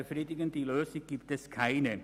Befriedigende Lösungen gibt es keine.